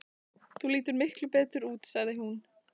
Þú lítur miklu betur út, sagði hún.